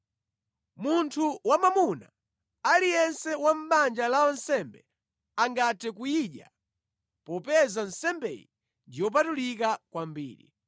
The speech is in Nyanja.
Munthu wamwamuna aliyense wa mʼbanja la wansembe angathe kuyidya popeza nsembeyi ndi yopatulika kwambiri.